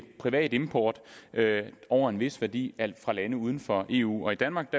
privat import over en vis værdi fra lande uden for eu i danmark